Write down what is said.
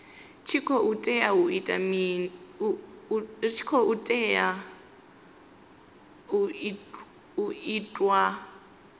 tshi khou tea u itiwa